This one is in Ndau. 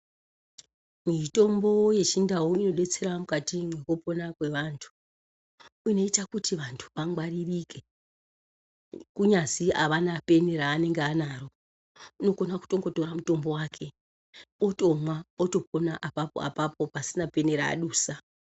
Mitombo yechindau inodetsera mukati mwekupona kwevantu ,inoita kuti vanhu vangwaririke kunyazi avana peni raanenge anaro unokona kutongotora mutombo wake otomwa otopona apapoapapo pasina peni raadusa.